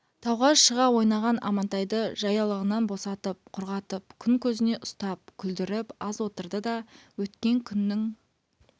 тауға шыға ойнаған амантайды жаялығынан босатып құрғатып күн көзіне ұстап күлдіріп аз отырды да өткен күннің